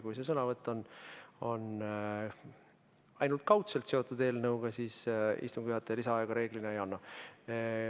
Kui sõnavõtt on ainult kaudselt eelnõuga seotud, siis istungi juhataja lisaaega reeglina ei anna.